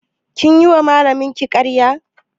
Kin yi wa malamin ki ƙaraya?